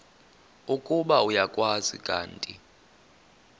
ukuba uyakwazi kanti